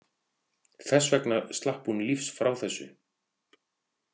Þess vegna slapp hún lífs frá þessu.